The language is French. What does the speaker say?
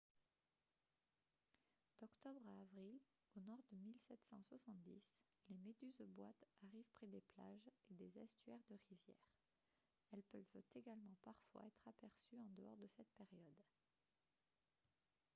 d'octobre à avril au nord de 1770 les méduses-boîtes arrivent près des plages et des estuaires de rivières elles peuvent également parfois être aperçues en dehors de cette période